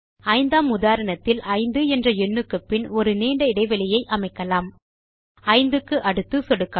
ஐந்தாம் உதாரணத்தில் 5 என்ற எண்ணுக்குப்பின் ஒரு நீண்ட இடைவெளியை அமைக்கலாம்5 க்கு அடுத்து சொடுக்கவும்